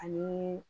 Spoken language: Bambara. Ani